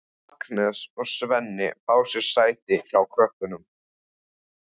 Agnes og Svenni fá sér sæti hjá krökkunum.